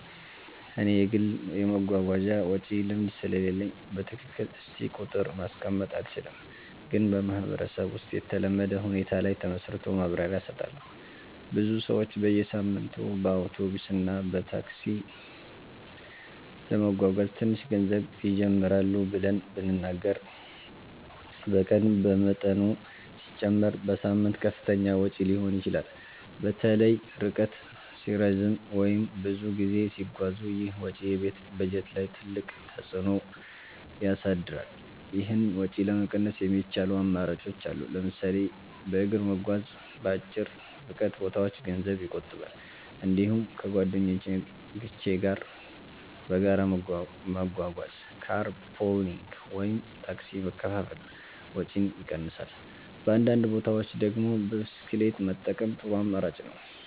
እኔ የግል የመጓጓዣ ወጪ ልምድ ስለሌለኝ በትክክል እስቲ ቁጥር ማስቀመጥ አልችልም፣ ግን በማህበረሰብ ውስጥ የተለመደ ሁኔታ ላይ ተመስርቶ ማብራሪያ እሰጣለሁ። ብዙ ሰዎች በየሳምንቱ በአውቶቡስ እና ታክሲ ለመጓጓዝ ትንሽ ገንዘብ ይጀምራሉ ብለን ብንናገር በቀን በመጠኑ ሲጨመር በሳምንት ከፍተኛ ወጪ ሊሆን ይችላል። በተለይ ርቀት ሲረዝም ወይም ብዙ ጊዜ ሲጓዙ ይህ ወጪ የቤት በጀት ላይ ትልቅ ተፅዕኖ ያሳድራል። ይህን ወጪ ለመቀነስ የሚቻሉ አማራጮች አሉ። ለምሳሌ በእግር መጓዝ በአጭር ርቀት ቦታዎች ገንዘብ ይቆጥባል። እንዲሁም ከጓደኞች ጋር በጋራ መጓጓዝ (car pooling ወይም ታክሲ መካፈል) ወጪን ይቀንሳል። በአንዳንድ ቦታዎች ደግሞ ብስክሌት መጠቀም ጥሩ አማራጭ ነው።